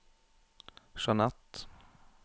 Jeanett